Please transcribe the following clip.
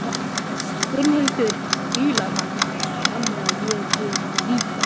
Gunnhildur fílar hann, þannig að ég geri það líka.